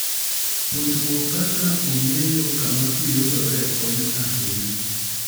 Puonjruok kaka ong'eyo kama pi yudore konyo ahinya.